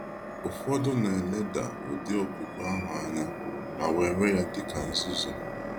Ụfọdụ na eleda ụdị okwukwe ahụ anya ma were ya dịka nzuzu.